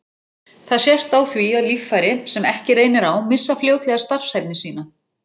Það sést á því að líffæri, sem ekki reynir á, missa fljótlega starfshæfni sína.